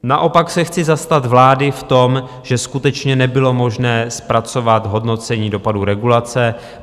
Naopak se chci zastat vlády v tom, že skutečně nebylo možné zpracovat hodnocení dopadů regulace.